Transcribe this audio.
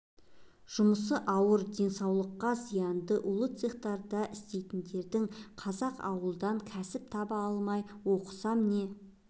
жұмысы ауыр денсаулыққа зиянды улы цехтарда істейтіндердің қазақ ауылдан кәсіп таба алмай оқысам не